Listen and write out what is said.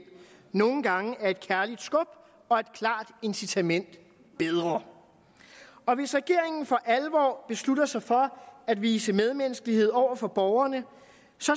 nogle gange er et kærligt skub og et klart incitament bedre og hvis regeringen for alvor beslutter sig for at vise medmenneskelighed over for borgerne